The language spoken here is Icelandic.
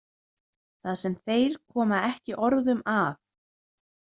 Það sem þeir koma ekki orðum að.